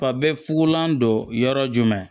Fa bɛɛ fugulan don yɔrɔ jumɛn